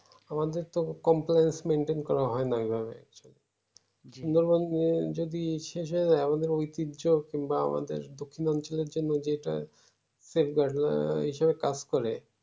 আমাদের তো Complaintsmaintain করা হয় না ঐইভাবে সুন্দরবন যদি শেষ হয়ে যাই আমাদের ঐতিহ্য কিংবা আমাদের দক্ষিণ অঞ্চলের জন্য যেইটা এই সবে কাজ করে